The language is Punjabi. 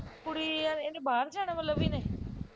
ਕੁੜੀ ਯਾਰ ਇਹਨੇ ਬਾਹਰ ਜਾਣਾ ਵਾ ਲਵੀ ਨੇ